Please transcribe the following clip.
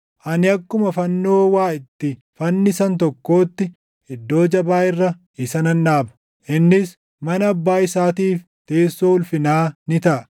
Ani akkuma fannoo waa itti fannisan tokkootti iddoo jabaa irra isa nan dhaaba; innis mana abbaa isaatiif teessoo ulfinaa ni taʼa.